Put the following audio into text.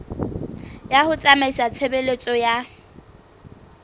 ya ho tsamaisa tshebeletso ya